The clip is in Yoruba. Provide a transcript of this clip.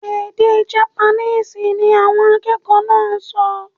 Èdè Japaníìsì ni awọn akẹkọ naa so